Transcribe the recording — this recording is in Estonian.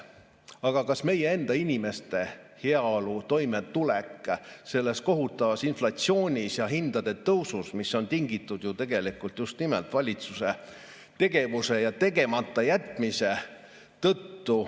Aga meie enda inimeste heaolu, toimetulek selle kohutava inflatsiooni ja hindade tõusu ajal, mis on tingitud ju tegelikult just nimelt valitsuse tegevusest ja tegematajätmisest?